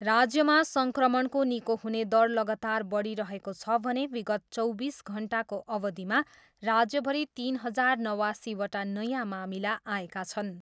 राज्यमा सङ्क्रमणको निको हुने दर लगातार बढिरहेको छ भने विगत चौबिस घन्टाको अवधिमा राज्यभरि तिन हजार नवासीवटा नयाँ मामिला आएका छन्।